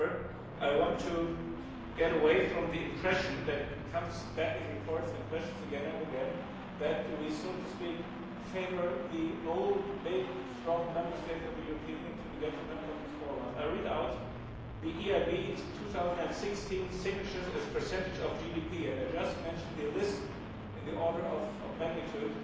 However, I want to get away from the impression that comes back in reports and questions again and again that we, so to speak, favour the old, big, strong Member States of the European to the detriment of the small ones. I shall read out the EIB's 2016 signatures as a percentage of GDP, and I shall just mention the list in the order of magnitude